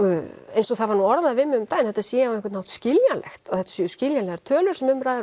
eins og það var nú orðað við mig um daginn að þetta sé á einhvern hátt skiljanlegt að þetta séu skiljanlegar tölur sem um ræðir